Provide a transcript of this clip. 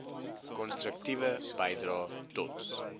konstruktiewe bydrae tot